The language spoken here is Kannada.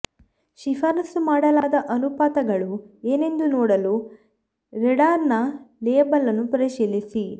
ಶಿಫಾರಸು ಮಾಡಲಾದ ಅನುಪಾತಗಳು ಏನೆಂದು ನೋಡಲು ರೆಡಾರ್ಡರ್ನ ಲೇಬಲ್ ಅನ್ನು ಪರಿಶೀಲಿಸಿ